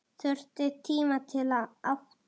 Þurfti tíma til að átta sig.